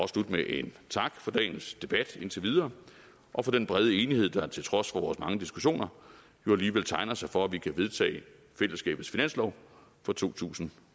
slutte med en tak for dagens debat indtil videre og for den brede enighed der til trods for vores mange diskussioner jo alligevel tegner sig for at vi kan vedtage fællesskabets finanslov for totusinde